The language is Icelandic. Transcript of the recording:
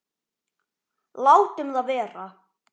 Látum það vera.